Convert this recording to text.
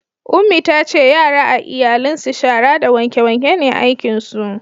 Ummi ta ce yara a iyalin su shara da wanke wanke ne aikin su